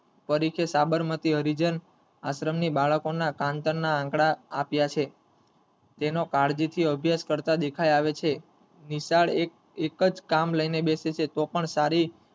પરિચય સાબરમતી હરિજન આશ્રમની બાળકોના કાન્તના આંકડાવો આપીયા છે તેનો કાળજીથી અભ્યાશ કરતા દેખાય આવે છે નિશાળ એક જ કામ લઈને બેસે છે તો પણ સારી,